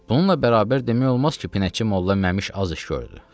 Bununla bərabər demək olmaz ki, Pinəçi Molla Məmş az iş gördü.